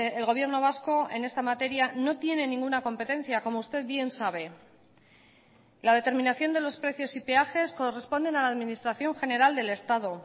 el gobierno vasco en esta materia no tiene ninguna competencia como usted bien sabe la determinación de los precios y peajes corresponden a la administración general del estado